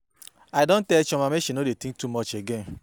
I don tell Chioma make she no dey think too much again.